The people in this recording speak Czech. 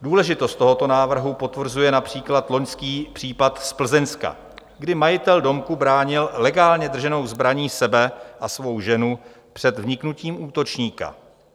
Důležitost tohoto návrhu potvrzuje například loňský případ z Plzeňska, kdy majitel domku bránil legálně drženou zbraní sebe a svou ženu před vniknutím útočníka.